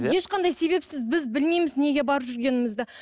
ешқандай себепсіз біз білмейміз неге барып жүргенімізді